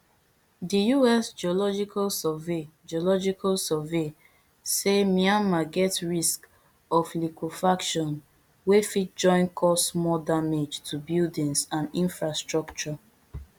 di us geological survey geological survey say myanmar get risk of liquefaction wey fit join cause more damage to buildings and infrastructure